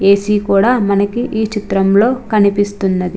ఏ. C. కూడా మనకు ఈచిత్రం లో కనిపెస్తునది.